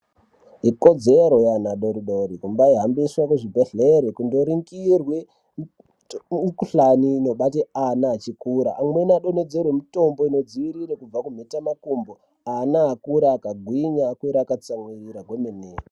Ikodzero yeana adori dori kumbaihambiswe kuzvibhehlere kundoringirwe umukhuhlani inobate ana achikura amweni adonhodzerwe mitombo inodziirire kubva kumhetamakumbo ana akuure akagwinya akure akatsamwirira kwemene.